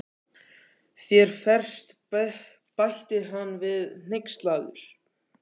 Þér ferst, bætti hann við hneykslaður.